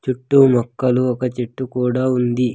చుట్టూ మొక్కలు ఒక చెట్టు కూడా ఉంది.